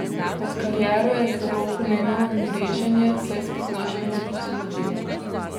Med kariero je zelo pomembno mreženje, saj spoznaš množico ljudi.